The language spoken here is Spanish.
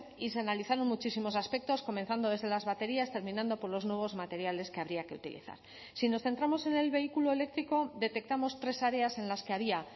y se analizaron muchísimos aspectos comenzando desde las baterías terminando por los nuevos materiales que habría que utilizar si nos centramos en el vehículo eléctrico detectamos tres áreas en las que había